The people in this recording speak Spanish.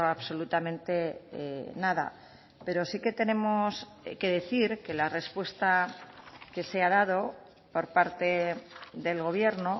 absolutamente nada pero sí que tenemos que decir que la respuesta que se ha dado por parte del gobierno